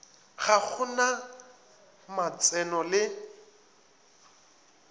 ga go na matseno le